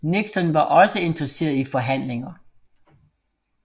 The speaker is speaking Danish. Nixon var også interesseret i forhandlinger